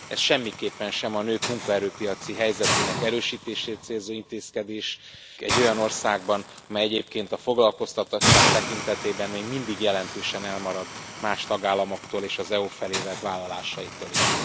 Ez semmiképpen sem a nők munkaerőpiaci helyzetének erősítését célzó intézkedés egy olyan országban, amely egyébként a foglalkoztatottság tekintetében még mindig jelentősen elmarad más tagállamoktól és az EU felé tett vállalásaitól is.